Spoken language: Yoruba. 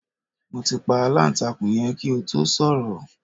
Mo ti pa aláǹtakùn yẹn kí o tó sọ̀rọ̀